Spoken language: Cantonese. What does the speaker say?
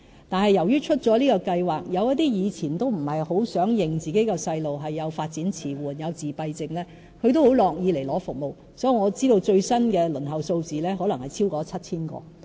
但是，由於推出這項計劃，有一些以前不太想承認自己的小孩有發展遲緩或自閉症的家長也很樂意接受服務，所以，我知道最新的輪候數字可能超過 7,000 個。